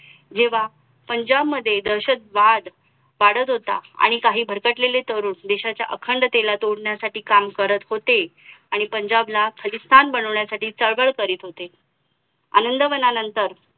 जेव्हा पंजाब मध्ये दहशतवाद वाढत होता आणि काही भरकटलेले तरुण देशाच्या अखंडतेला तोडण्यासाठी काम करत होते आणि पंजाब ला खलिस्थान बनवण्यासाठी चळवळ करीत होते आनंदवणानंतर